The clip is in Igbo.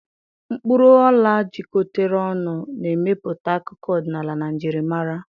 Mkpuru ola jikọtara ọnụ, na-emepụta akụkọ ọdịnala na njirimara.